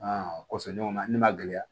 kɔsɔma ne ma gɛlɛya